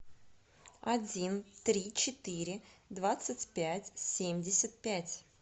один три четыре двадцать пять семьдесят пять